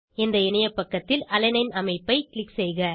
இந்த இணையப்பக்கத்தில் அலனைன் அமைப்பு க்ளிக் செய்க